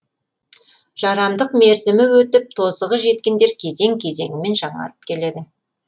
жарамдық мерзімі өтіп тозығы жеткендер кезең кезеңімен жаңарып келеді